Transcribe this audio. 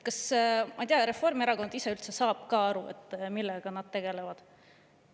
Ma ei tea, kas Reformierakond ise üldse saab aru, millega nad tegelevad.